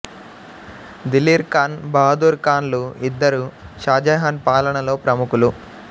దిలీర్ ఖాన్ బహదూర్ ఖాన్ లు ఇద్దరూ షాజహాన్ పాలనలో ప్రముఖులు